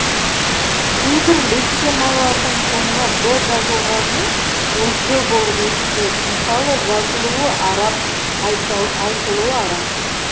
кейбір лексемалардың соңына б жазылғанымен ол п болып естіледі мысалы жазылуы араб айтылуы арап